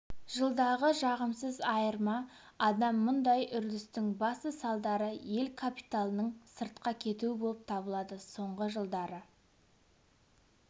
жылдағы жағымсыз айырма адам мұндай үрдістің басты салдары ел капиталының сыртқа кетуі болып табылады соңғы жылдары